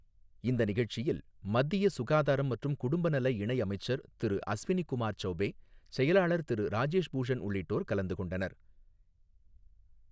இந்த நிகழ்ச்சியில் மத்திய சுகாதாரம் மற்றும் குடும்ப நல இணை அமைச்சர் திரு அஸ்வினி குமார் சௌபே, செயலாளர் திரு ராஜேஷ் பூஷன் உள்ளிட்டோர் கலந்து கொண்டனர்.